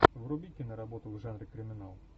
вруби киноработу в жанре криминал